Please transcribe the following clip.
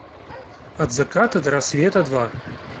от заката до рассвета два